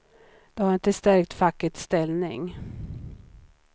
Det har inte stärkt fackets ställning.